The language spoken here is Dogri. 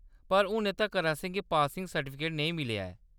पर हुनै तक्कर असेंगी पासिंग सर्टिफिकेट नेईं मिलेआ ऐ।